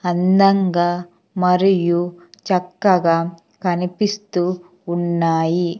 అందంగా మరియు చక్కగా కనిపిస్తూ ఉన్నాయి.